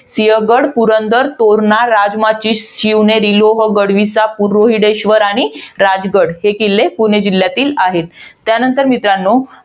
सिंहगड, पुरंदर, तोरणा, राजमाची, शिवनेरी, लोहगड, विसापूर, रोहिडेश्वर आणि राजगड. हे किल्ले पुणे जिल्ह्यातील आहेत. त्यानंतर मित्रांनो,